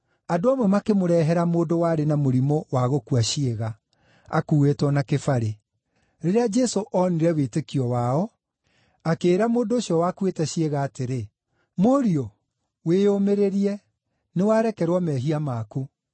Andũ amwe makĩmũrehera mũndũ warĩ na mũrimũ wa gũkua ciĩga, akuuĩtwo na kĩbarĩ. Rĩrĩa Jesũ oonire wĩtĩkio wao, akĩĩra mũndũ ũcio wakuĩte ciĩga atĩrĩ, “Mũriũ, wĩyũmĩrĩrie, nĩwarekerwo mehia maku.”